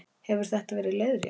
Hefur þetta verið leiðrétt